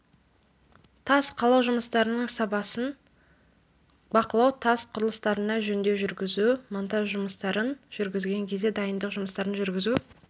тас қалау жұмыстарының сапасын бақылау тас құрылыстарына жөндеу жүргізу монтаж жұмыстарын жүргізген кезде дайындық жұмыстарын жүргізу